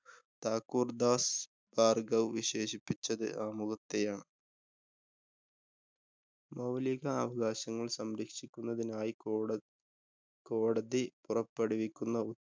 താക്കൂര്‍ ദാസ്‌ ഭാര്‍ഘവ് വിശേഷിപ്പിച്ചത്‌ ആമുഖത്തെയാണ്. മൌലികാവകാശങ്ങള്‍ സംരക്ഷിക്കുന്നതിനായി കോട കോടതി പുറപ്പെടുവിക്കുന്ന